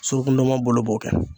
Suruku ndɔnmɔn bolo b'o kɛ